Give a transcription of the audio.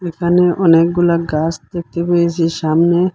এখানে অনেকগুলা গাছ দেখতে পেয়েছি সামনে।